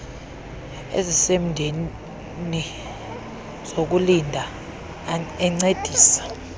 ezisemdeni zokulinda encedisa